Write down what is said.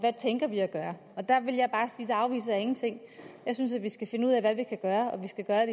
hvad vi at gøre der vil jeg bare sige at jeg afviser ingenting jeg synes vi skal finde ud af hvad vi kan gøre og vi skal gøre